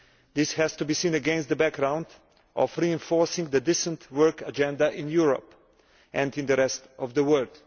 This has to be seen against the background of reinforcing the decent work agenda in Europe and in the rest of the world.